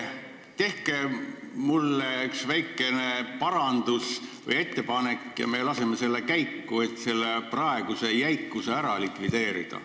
Tehke üks väikene ettepanek, kuidas me saaks selle jäikuse ära likvideerida, ja me laseme selle käiku!